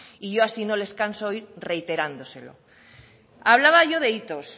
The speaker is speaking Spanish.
y yo así no les canso hoy reiterándoselo hablaba yo de hitos